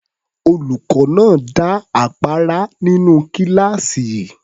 Olùkọ́ náà dá àpárá nínú kíláàsì.